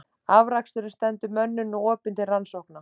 Afraksturinn stendur mönnum nú opinn til rannsókna.